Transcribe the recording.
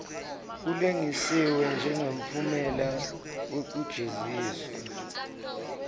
kulengisiwe njengemphumela wekujeziswa